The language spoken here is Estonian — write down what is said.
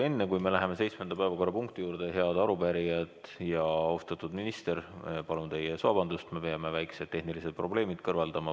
Enne kui me läheme seitsmenda päevakorrapunkti juurde, head arupärijad ja austatud minister, palun teie ees vabandust, me peame väikesed tehnilised probleemid kõrvaldama.